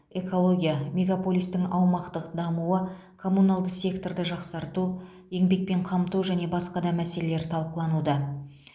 экология мегаполистің аумақтық дамуы коммуналды секторды жақсарту еңбекпен қамту және басқа да мәселелер талқылануда